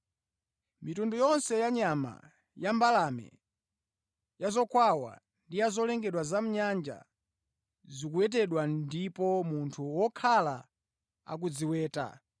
Mitundu yonse ya nyama, ya mbalame, ya zokwawa ndi ya zolengedwa za mʼnyanja, zikuwetedwa ndipo munthu wakhala akuziweta,